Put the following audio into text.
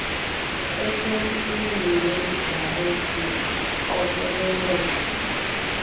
esemsini wesigarethi uqokoleleka